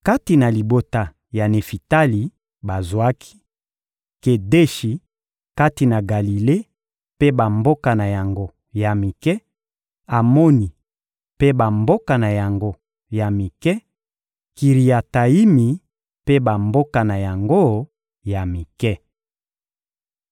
Kati na libota ya Nefitali, bazwaki: Kedeshi kati na Galile mpe bamboka na yango ya mike, Amoni mpe bamboka na yango ya mike, Kiriatayimi mpe bamboka na yango ya mike.